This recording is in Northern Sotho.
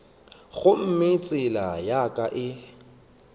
gomme tsela ya ka e